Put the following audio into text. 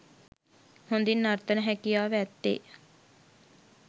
හොඳින් නර්තන හැකියාව ඇත්තේ